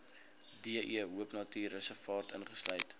de hoopnatuurreservaat insluit